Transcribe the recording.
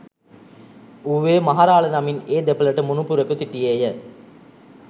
ඌවේ මහ රාළ නමින් ඒ දෙපළට මුණුපුරෙකු සිටියේය